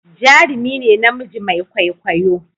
jarumi ne namiji Mai kwaikwayo